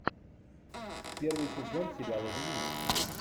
первый сезон сериала винил